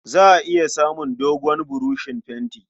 Za a iya samun dogon buroshin fenti.